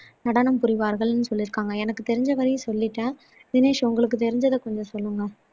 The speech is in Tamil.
நடனம் புரிவார்கள் என்றும் சொல்லியிருக்காங்க எனக்கு தெரிஞ்ச வரையும் சொல்லிட்டேன் தினேஷ் உங்களுக்கு தெரிஞ்சத கொஞ்சம் சொல்லுங்க